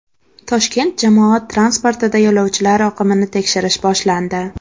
Toshkent jamoat transportida yo‘lovchilar oqimini tekshirish boshlandi.